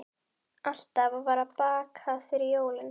Alltaf var bakað fyrir jólin.